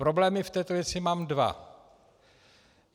Problémy v této věci mám dva.